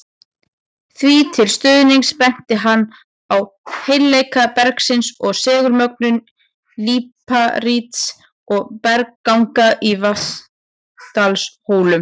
Því til stuðnings benti hann á heilleika bergsins og segulmögnun líparíts og bergganga í Vatnsdalshólum.